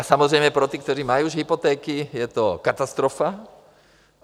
A samozřejmě pro ty, kteří už mají hypotéky, je to katastrofa.